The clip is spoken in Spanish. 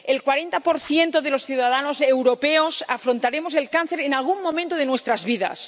el 40 de los ciudadanos europeos afrontaremos el cáncer en algún momento de nuestras vidas.